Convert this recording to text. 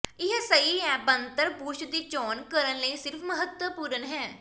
ਇਹ ਸਹੀ ਹੈ ਬਣਤਰ ਬੁਰਸ਼ ਦੀ ਚੋਣ ਕਰਨ ਲਈ ਸਿਰਫ ਮਹੱਤਵਪੂਰਨ ਹੈ